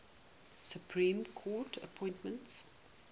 supreme court appointments